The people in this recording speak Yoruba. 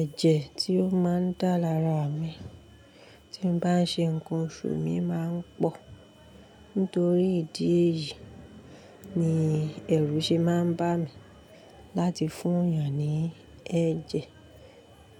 ẹ̀jẹ̀ tí ó máa ń dá lára mi tí ń bá ń ṣe ǹkan òṣù mi má ń pọ̀. Nítorí ìdí èyí ni ẹrú ṣe má ń bá mi láti fún èèyàn ní ẹ̀jẹ̀.